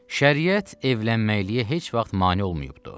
Şəriət evlənməyə heç vaxt mane olmayıbdır.